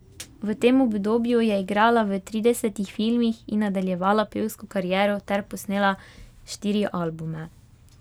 V tem obdobju je igrala v tridesetih filmih in nadaljevala pevsko kariero ter posnela štiri albume.